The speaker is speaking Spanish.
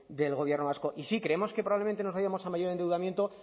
del gobierno vasco y sí creemos que probablemente nos vayamos a mayor endeudamiento